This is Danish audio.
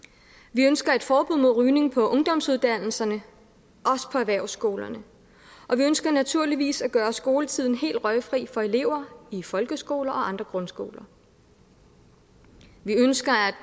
vi ønsker et forbud mod rygning på ungdomsuddannelserne også på erhvervsskolerne og vi ønsker naturligvis at gøre skoletiden helt røgfri for elever i folkeskoler og andre grundskoler vi ønsker